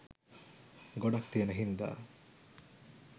ගොඩක් තියෙන හිංදා